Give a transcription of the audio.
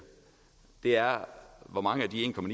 er hvor mange af de